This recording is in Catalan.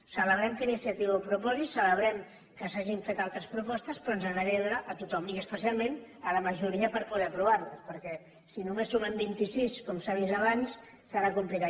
celebrem que iniciativa ho proposi celebrem que s’hagin fet altres propostes però ens agradaria veure hi a tothom i especialment a la majoria per poder aprovar ho perquè si només sumem vint i sis com s’ha vist abans serà complicat